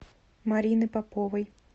марины поповой